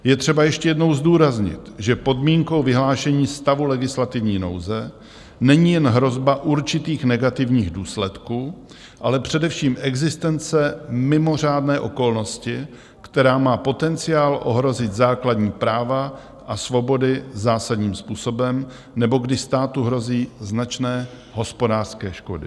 Je třeba ještě jednou zdůraznit, že podmínkou vyhlášení stavu legislativní nouze není jen hrozba určitých negativních důsledků, ale především existence mimořádné okolnosti, která má potenciál ohrozit základní práva a svobody zásadním způsobem nebo kdy státu hrozí značné hospodářské škody.